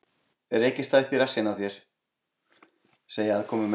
Rekist það upp í rassinn á þér, segja aðkomumenn.